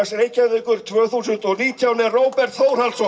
Reykjavíkur tvö þúsund og nítján er Róbert Þórhallsson